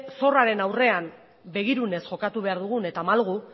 zorraren aurrean begirunez jokatu behar dugun eta malgu